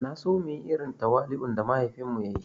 Naso muyi irin tawali'un da mahaifin mu ya yi